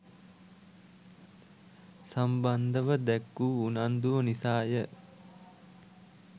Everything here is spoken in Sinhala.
සම්බන්‍ධව දැක්වූ උනන්‍දුව නිසාය.